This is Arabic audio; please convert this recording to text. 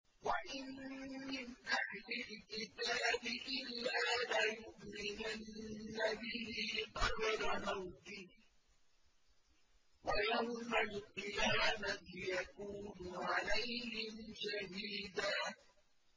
وَإِن مِّنْ أَهْلِ الْكِتَابِ إِلَّا لَيُؤْمِنَنَّ بِهِ قَبْلَ مَوْتِهِ ۖ وَيَوْمَ الْقِيَامَةِ يَكُونُ عَلَيْهِمْ شَهِيدًا